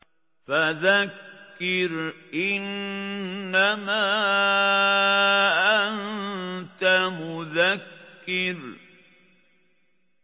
فَذَكِّرْ إِنَّمَا أَنتَ مُذَكِّرٌ